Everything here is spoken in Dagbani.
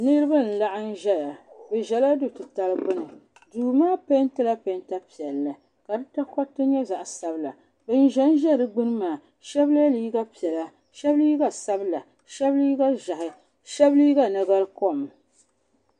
Niriba n laɣim ʒɛya bɛ ʒɛla du'titali gbini duu maa pentila penta piɛlli ka di takoriti nyɛ zaɣa sabila ban ʒɛnʒɛ di gbini maa sheba ye liiga sheba liiga sabila sheba liiga ʒehi sheba liiga nagarikom.